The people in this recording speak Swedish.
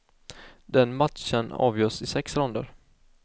Den matchen avgörs i sex ronder.